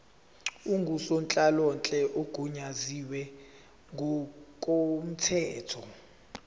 ngusonhlalonhle ogunyaziwe ngokomthetho